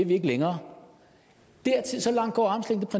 vi ikke længere